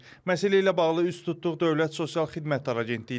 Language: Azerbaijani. Məsələ ilə bağlı üst tutduq Dövlət Sosial Xidmətlər Agentliyinə.